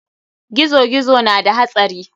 Gizo-gizo na da hatsari.